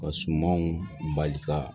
Ka sumanw bali ka